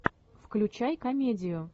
включай комедию